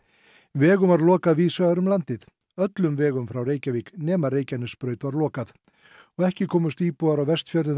vegum var lokað víðsvegar um landið öllum vegum frá Reykjavík nema Reykjanesbraut var lokað ekki komust íbúar á Vestfjörðum